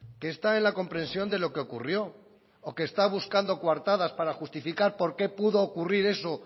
que está en la comprensión de lo que ocurrió o que está buscando coartadas para justificar por qué pudo ocurrir eso